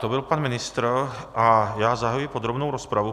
To byl pan ministr, a já zahajuji podrobnou rozpravu.